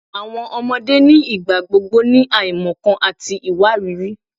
Awọn ọmọde nigbagbogbo ni aimọkan ati iwariiri